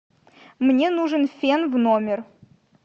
мне нужен фен в номер